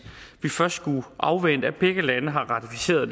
vi først skulle afvente at begge lande har ratificeret